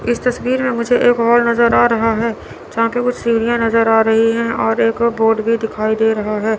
इस तस्वीर मे मुझे एक वॉल नज़र आ रहा है जहाँ की कुछ सीढियाँ नज़र आ रही है और एक बोर्ड भी दिखाई दे रहा है।